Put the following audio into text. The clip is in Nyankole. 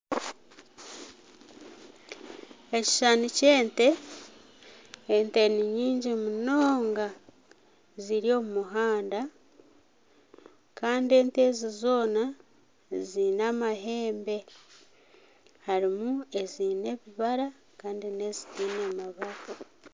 Ekishushani ky'ente, ente ni nyingi munonga ziri omu muhanda kandi ente ezi zoona ziine amahembe harimu ezi ebibara kandi n'ezitaine mabara